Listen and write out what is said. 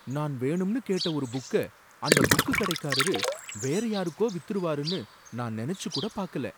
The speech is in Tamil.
நான் வேணும்னு கேட்ட ஒரு புக்க அந்த புக்குகடைக்காரரு வேறயாருக்கோ வித்துருவாருன்னு நான் நெனச்சு கூட பாக்கல!